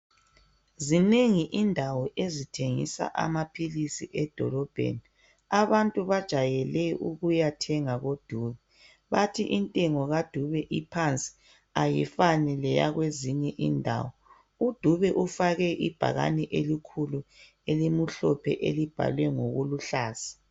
zinengi indawo ezithengisa amaphilisi edolobheni abantu bajayele ukuyathenga ko Dube bathi intengo ka Dube iphansi ayifani leyakwezinye indawo u Dube ufake ibhakane elikhulu elimhlophe elibhalwe ngokuluhlaza